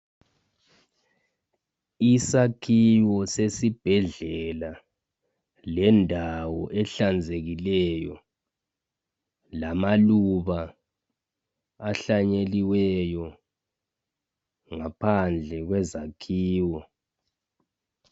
Isakhiwo sesibhedlela, lendawo ehlanzekileyo lamaluba ahlanyeliweyo ngaphandle kwezakhiwo.